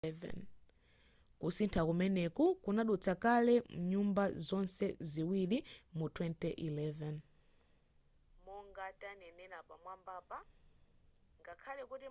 kusintha kumeneku kunadutsa kale mnyumba zonse ziwiri mu 2011